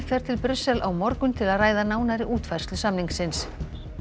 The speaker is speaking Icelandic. fer til Brussel á morgun til að ræða nánari útfærslu samningsins